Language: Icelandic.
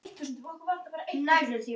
Kannski var